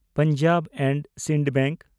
Punjab and Sind bank